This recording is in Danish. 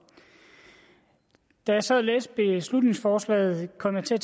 da jeg så læste beslutningsforslaget kom jeg til at